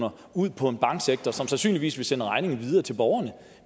ud på en banksektor som sandsynligvis vil sende regningen videre til borgerne